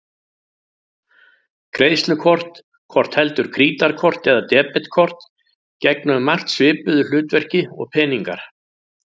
Greiðslukort, hvort heldur krítarkort eða debetkort, gegna um margt svipuðu hlutverki og peningar.